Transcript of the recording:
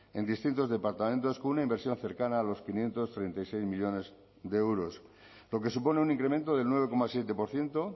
en distintos departamentos con una inversión cercana a los quinientos treinta y seis millónes de euros lo que supone un incremento del nueve coma siete por ciento